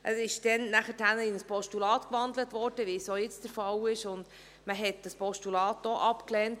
Er wurde danach in ein Postulat gewandelt, wie es auch jetzt der Fall ist, und man lehnte dieses Postulat auch abt.